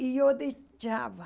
E eu deixava.